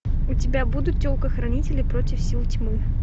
у тебя будут телкохранители против сил тьмы